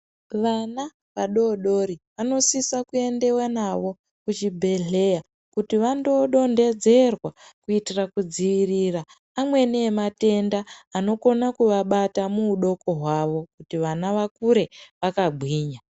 Vana vadori dori vanosisa kuendewa nawo kuchibhedleya kuti vanodonhedzerwa kuitira kudziirira amweni yematenda anokona kuvabata muhudoko hwavo, kuti vana vakure vakagwina.